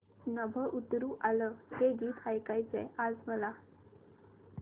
नभं उतरू आलं हे गीत ऐकायचंय आज मला